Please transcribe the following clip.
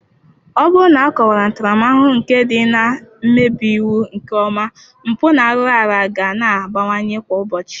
Ọ bụrụ na akọwara ntaramahụhụ nke ndị na-emebi iwu nke ọma, mpụ na-arụ ga na-abawanye kwa ụbọchị.